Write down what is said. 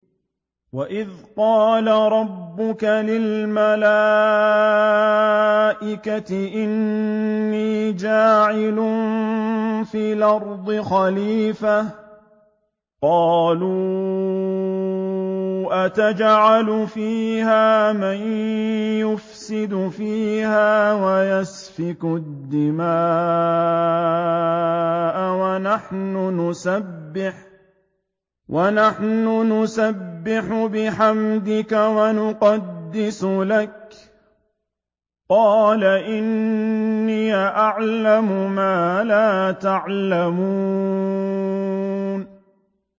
وَإِذْ قَالَ رَبُّكَ لِلْمَلَائِكَةِ إِنِّي جَاعِلٌ فِي الْأَرْضِ خَلِيفَةً ۖ قَالُوا أَتَجْعَلُ فِيهَا مَن يُفْسِدُ فِيهَا وَيَسْفِكُ الدِّمَاءَ وَنَحْنُ نُسَبِّحُ بِحَمْدِكَ وَنُقَدِّسُ لَكَ ۖ قَالَ إِنِّي أَعْلَمُ مَا لَا تَعْلَمُونَ